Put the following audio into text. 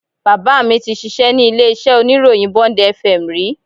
Bàbá mi tí ṣíṣe ní ilé iṣẹ́ oníròyìn Bond FM rí